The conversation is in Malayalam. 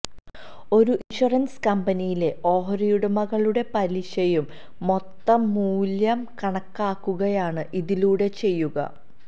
ഒരു ഇന്ഷ്വറന്സ് കമ്പനിയിലെ ഓഹരിയുടമകളുടെ പലിശയുടെ മൊത്തം മൂല്യം കണക്കാക്കുകയാണ് ഇതിലൂടെ ചെയ്യുക